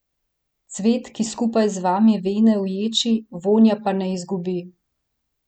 Cvet, ki skupaj z vami vene v ječi, vonja pa ne izgubi.